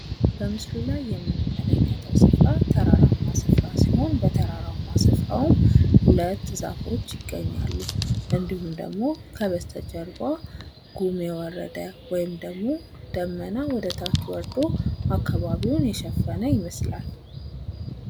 በምስሉ ላይ የምንመለከተዉ ስፍራ ተራራማ ስፍራ ሲሆን በተራራማ ስፍራዉም ሁለት ዛፎች ይገኛሉ። እንዲሁም ደግሞ ከበስተ ጀርባ ጉም የወረደ ወይም ደግሞ ደመና ወደ ታች ወርዶ አካባቢዉን የሸፈነ ይመስላል።